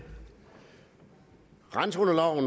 randzoner